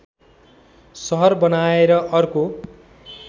सहर बनाएर अर्को